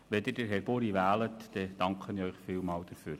Wenn Sie Herrn Buri wählen, danke ich Ihnen sehr dafür.